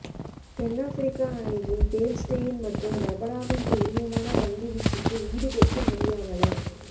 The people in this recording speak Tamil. தென்னாபிரிக்க அணியின் டேல் ஸ்டெயின் மற்றும் றபாடாவின் துல்லியமான பந்துவீச்சுக்கு ஈடுகொடுக்க முடியாமல